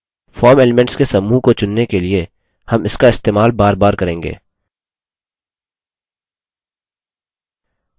form elements के समूह को चुनने के लिए हम इसका इस्तेमाल बार बार करेंगे